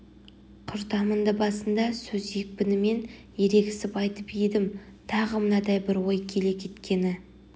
құртамындыбасында сөз екпінімен ерегісіп айтып едім тағы мынадай бір ой келе кеткені